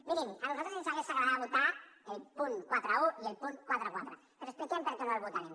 mirin a nosaltres ens hagués agradat votar el punt quaranta un i el punt quaranta quatre però expliquem per què no els votarem